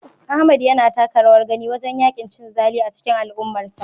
Ahmad yana taka rawar gani wajen yaƙin cin zali a cikin al'ummarsa.